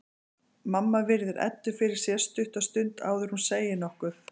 Mamma virðir Eddu fyrir sér stutta stund áður en hún segir nokkuð.